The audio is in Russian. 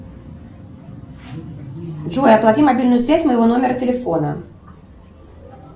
джой оплати мобильную связь моего номера телефона